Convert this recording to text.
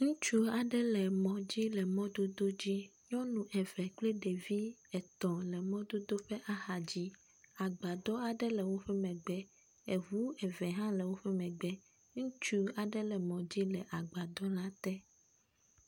Ŋutsu aɖe le emɔ dzi le mɔdodo dzi, nyɔnu eve kple ɖevi etɔ̃ le mɔdodo ƒe axa dzi, agbadɔ aɖe le woƒe megbe, eʋu eve hã le woƒe megbe, ŋutsu aɖe le mɔ dzi le agbadɔ la te.